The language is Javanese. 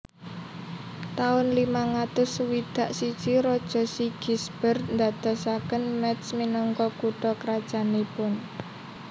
Taun limang atus swidak siji Raja Sigisbert ndadosaken Métz minangka kutha krajannipun